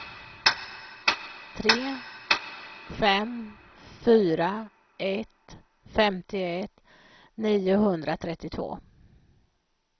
tre fem fyra ett femtioett niohundratrettiotvå